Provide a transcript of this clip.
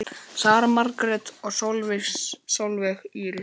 Sara Margrét og Sólveig Íris.